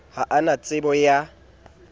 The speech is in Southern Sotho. ha a na tsebo ya